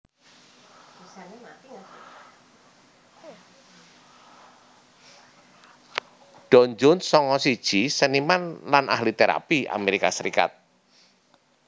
Don Jones sanga siji seniman lan ahli térapi Amerika Serikat